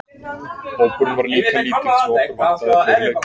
Hópurinn var líka lítill svo okkur vantaði fleiri leikmenn.